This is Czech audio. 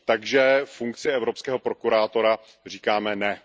Takže funkci evropského prokurátora říkáme ne.